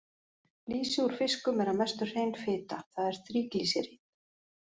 Lýsi úr fiskum er að mestu hrein fita, það er þríglýseríð.